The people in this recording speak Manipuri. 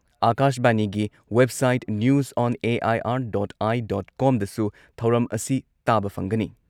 ꯑꯥꯀꯥꯥꯁꯕꯥꯅꯤꯒꯤ ꯋꯦꯕꯁꯥꯏꯠ ꯅ꯭ꯌꯨꯖ ꯑꯣꯟ ꯑꯦ.ꯑꯥꯢ.ꯑꯥꯔ.ꯗꯣꯠ.ꯑꯥꯢ.ꯗꯣꯠꯀꯣꯝꯗꯁꯨ ꯊꯧꯔꯝ ꯑꯁꯤ ꯇꯥꯕ ꯐꯪꯒꯅꯤ ꯫